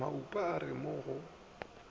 maupa a re mo go